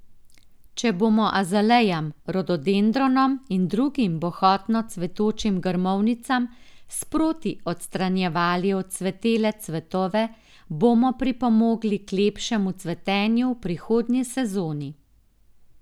Če bomo azalejam, rododendronom in drugim bohotno cvetočim grmovnicam sproti odstranjevali odcvetele cvetove, bomo pripomogli k lepšemu cvetenju v prihodnji sezoni.